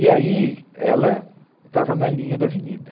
E aí ela estava na linha da avenida.